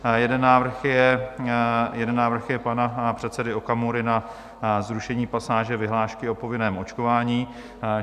Jeden návrh je pana předsedy Okamury na zrušení pasáže vyhlášky o povinném očkování.